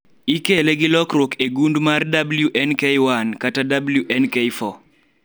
ikele gilokruok e gund mar WNK1 kata WNK4